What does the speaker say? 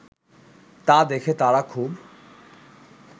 তা দেখে তারা খুব